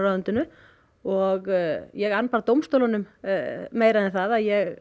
ráðuneytinu og ég ann dómstólunum meira en það að ég